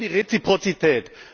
Wir wollen die Reziprozität!